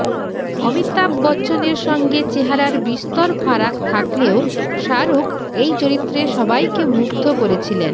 অমিতাভ বচ্চনের সঙ্গে চেহারার বিস্তর ফারাক থাকলেও শাহরুখ এই চরিত্রে সবাইকে মুগ্ধ করেছিলেন